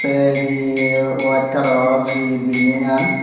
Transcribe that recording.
tey he white colour or he building an.